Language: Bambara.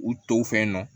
U tɔw fɛ nɔ